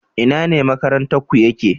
Ina ne makaranta ku ya ke?